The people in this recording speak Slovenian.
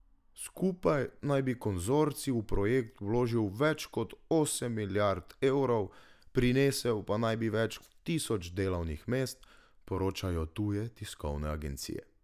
Skupaj naj bi konzorcij v projekt vložil več kot osem milijard evrov, prinesel pa naj bi več tisoč delovnih mest, poročajo tuje tiskovne agencije.